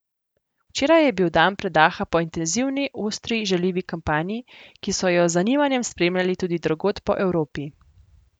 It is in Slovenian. Včeraj je bil dan predaha po intenzivni, ostri, žaljivi kampanji, ki so jo z zanimanjem spremljali tudi drugod po Evropi.